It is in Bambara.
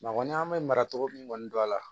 an bɛ mara cogo min kɔni don a la